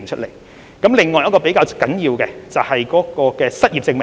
另一項較為重要的措施，是關於失業證明。